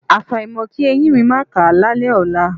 Àfàìmọ̀ kí eyín mi máà ká lálẹ́ ọ̀la.